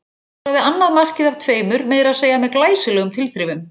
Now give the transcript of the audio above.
Skoraði annað markið af tveimur meira að segja með glæsilegum tilþrifum.